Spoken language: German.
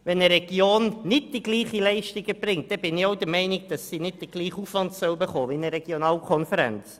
Erbringt eine Region nicht die gleiche Leistung, bin ich der Meinung, sie sollte nicht den gleichen Aufwand entschädigt erhalten wie eine Regionalkonferenz.